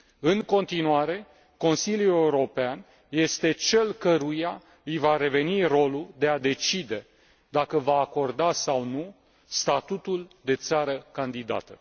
În continuare, Consiliul European este cel căruia îi va reveni rolul de a decide dacă va acorda sau nu statutul de țară candidată.